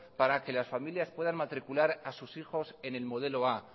para que las familias puedan matricular a sus hijos en el modelo a